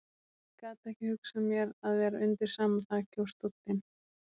Ég gat ekki hugsað mér að vera undir sama þaki og stóllinn.